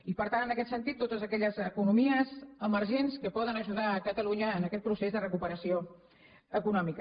i per tant en aquest sentit totes aquelles economies emergents que poden ajudar catalunya en aquest procés de recuperació econòmica